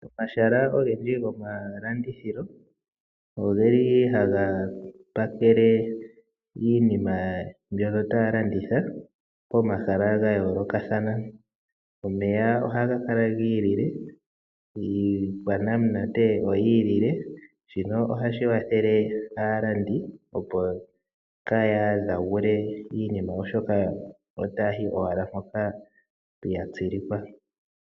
Omahala ogendji gomalandithilo ohaga pakele iinima mbyono taya landitha pomahala ga yoolokathana. Omeya ohaga kala gi ilile, iikwanamunate oyi ilile. Shino ohashi kwathele, opo aalandi kaaya hadhagule iinima, oshoka otaya yi owala mpoka ya tsilikwa.